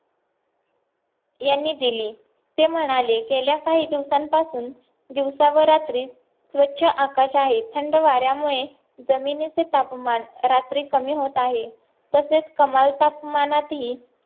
यांनी दिली ते म्हणाले गेल्या काही दिवसांपासून दिवस व रात्री स्वच्छ आकाश आहे थंड वाऱ्यामुळे जमिनीचे तापमान रात्री कमी होत आहे तसेच कमान तापमानात ही